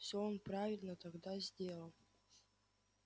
всё он правильно тогда сделал